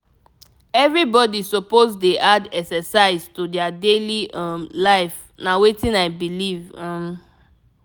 everybody suppose dey add exercise to their daily um life na wetin i believe. um